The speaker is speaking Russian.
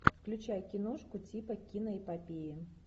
включай киношку типа киноэпопеи